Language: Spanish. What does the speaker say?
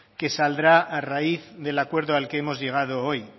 que saldrá a raíz del acuerdo al que hemos llegado hoy